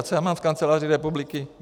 A co já mám s kanceláří republiky?